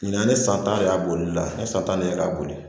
Ɲinan ne san ta de y'a bolila ne san tan de k'a boli